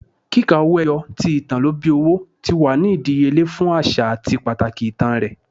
Kika owo eyo, ti itan lo bi owo, ti wa ni idiyele fun aṣa ati pataki itan rẹ